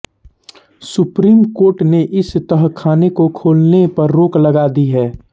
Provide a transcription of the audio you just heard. supreme court ने इस तहखाने को खोलने पर रोक लगा दी है